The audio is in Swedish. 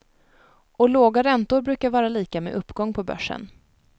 Och låga räntor brukar vara lika med uppgång på börsen.